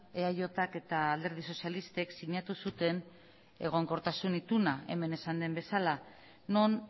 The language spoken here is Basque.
eajk eta alderdi sozialistek sinatu zuten egonkortasun ituna hemen esan den bezala non